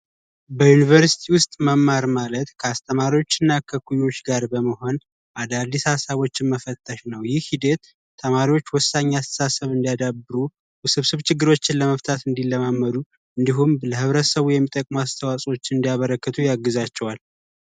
በዩንቨርስቲ ውስጥ መማር ማለት ከአስተማሪና ከእኩዮች ጋር በመሆን አዳዲስ ሃሳቦችን መፈተሽ ነው ይህ ሂደት ተማሪዎች ወሳኝ አስተሳሰብ እንዲያዳብሩ ውስብስብ ችግሮችን በመፍታት እንዲለማመዱ እንዲሁም ለብረተሰቡ የሚጠቅሙ አስተዋጽኦዎችን እንዲያበረከቱ ያግዛቸዋል።